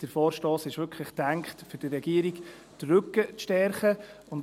Der Vorstoss ist dazu gedacht, der Regierung den Rücken zu stärken.